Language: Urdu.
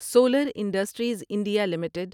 solar industries India limited